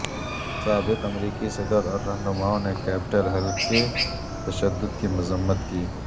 سابق امریکی صدراور رہنمائوں نے کیپٹل ہل کے تشدد کی مذمت کی